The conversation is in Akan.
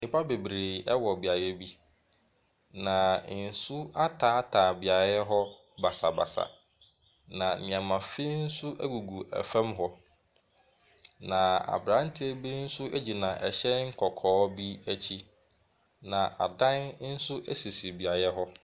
Nnipa bebree ɛwɔ beaeɛ bi na nsu ataataa beaeɛ hɔ basabasa. Na nnoɔma finn nso egugu ɛfam hɔ. Na abranteɛ bi nso gyina ɛhyɛn kɔkɔɔ bi akyi na adan nso esisi beaeɛ hɔ.